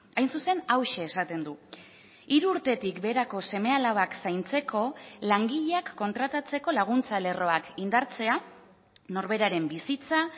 hain zuzen hauxe esaten du hiru urtetik beherako seme alabak zaintzeko langileak kontratatzeko laguntza lerroak indartzea norberaren bizitza